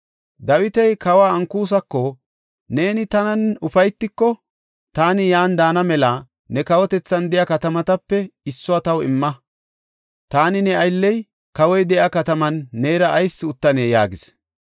Dawiti kawa Ankusako, “Neeni tanan ufaytiko, taani yan daana mela ne kawotethan de7iya katamatape issuwa taw imma. Taani ne aylley kawoy de7iya kataman neera ayis uttanee?” yaagis.